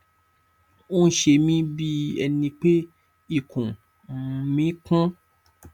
ó ń ṣe mih bí ẹni pé ikùn um mí kún